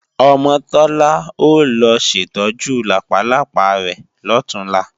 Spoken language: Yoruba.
Ọmọ Tọ́lá ó lọ ṣètọ́jú làpálápá rẹ̀ lọ̀túnla